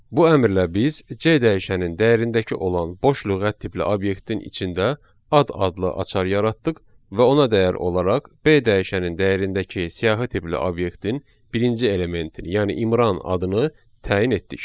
Bu əmrlə biz C dəyişənin dəyərindəki olan boş lüğət tipli obyektin içində ad adlı açar yaratdıq və ona dəyər olaraq B dəyişənin dəyərindəki siyahı tipli obyektin birinci elementini, yəni İmran adını təyin etdik.